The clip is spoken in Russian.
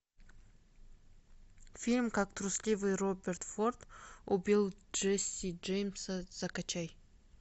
фильм как трусливый роберт форд убил джесси джеймса закачай